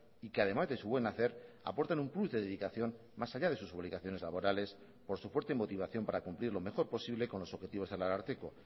y que además de su buen hacer aportan un plus de dedicación más allá de sus obligaciones laborales por su fuerte motivación para cumplir lo mejor posible con los objetivos del ararteko